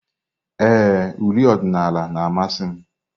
Ee, uri odinala na-amasị m.